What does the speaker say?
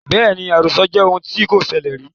Bẹ́ẹ̀ni, àròsọ jẹ́ ohun tí kò ṣẹlẹ rìí